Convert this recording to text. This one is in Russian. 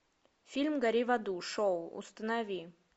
фильм гори в аду шоу установи